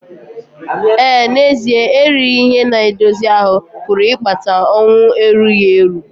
Ee, n'ezie erighị ihe na-edozi ahụ́ pụrụ ịkpata ọnwụ erughi eru.